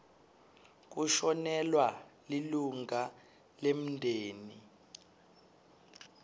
kushonelwa lilunga lemndeni